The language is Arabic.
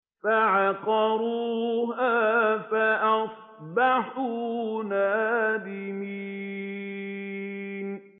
فَعَقَرُوهَا فَأَصْبَحُوا نَادِمِينَ